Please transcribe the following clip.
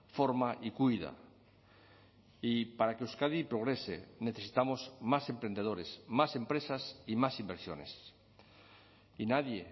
forma y cuida y para que euskadi progrese necesitamos más emprendedores más empresas y más inversiones y nadie